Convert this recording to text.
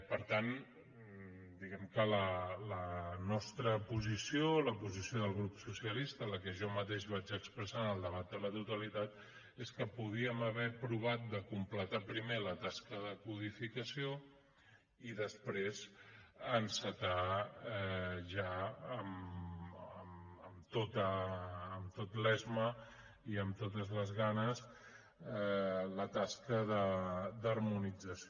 per tant diguem que la nostra posició la posició del grup socialista la que jo mateix vaig expressar en el debat de totalitat és que podíem haver provat de completar primer la tasca de codificació i després encetar ja amb tot l’esme i amb totes les ganes la tasca d’harmonització